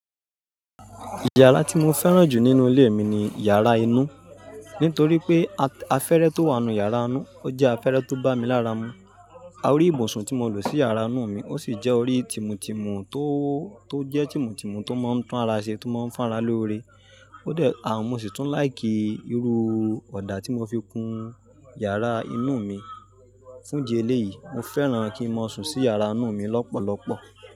Yàrá tí mo fẹ́ràn jù nínú ilé mi ni yàrá inú, nítorí pé afẹ́retó wà nínú yàrá inú, ó jẹ́ afẹ́rẹ́ tó bá mi lára mu. Orí ìbùsùn tí mo lò sí yàrá inú mi ó sì jẹ́ orí tímùtìmù tó, tó jẹ́ tímùtìmù tó máa ń tun ara ṣe, tó máa ń fá ara lóore. Ó dẹ, àmo sì tún láì kí irú ọ̀dà tí mo fi kun yàrá inú mi. Fún idi eléyìí, mo fẹ́ràn kí n máa sùn sí yàrá inú mi lọ́pọ̀lọpọ̀.